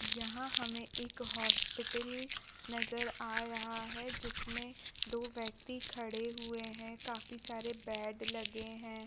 यहाँ हमें एक हॉस्पिटल नजर आ रहा है जिसमें दो व्यक्ति खड़े हुए है काफी सारे बेड लगे हैं।